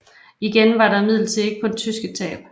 Igen var der imidlertid ikke kun tyske tab